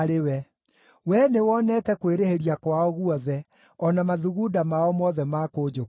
Wee nĩwonete kwĩrĩhĩria kwao guothe, o na mathugunda mao mothe ma kũnjũkĩrĩra.